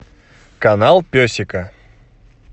канал песика